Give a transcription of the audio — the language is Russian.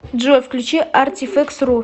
джой включи артифэкс ру